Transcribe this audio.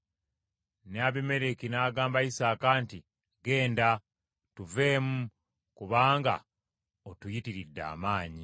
Ne Abimereki n’agamba Isaaka nti, “Ggenda, tuveemu kubanga otuyitiridde amaanyi.”